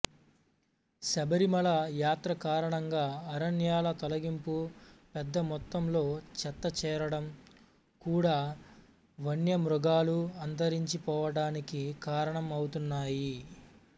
శబరిమల యాత్రకారణంగా అరణ్యాల తొలగింపు పెద్ద మొత్తంలో చెత్త చేరడం కూడా వన్యమృగాలు అంతరించి పోవడానికి కారణం ఔతున్నాయి